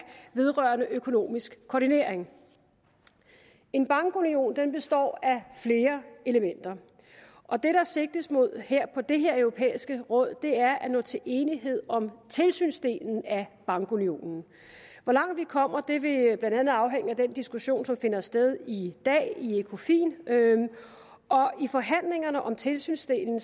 vedrørende økonomisk koordinering en bankunion består af flere elementer og det der sigtes mod på det her europæiske råd er at nå til enighed om tilsynsdelen af bankunionen hvor langt vi kommer vil blandt andet afhænge af den diskussion som finder sted i dag i ecofin i forhandlingerne om tilsynsdelen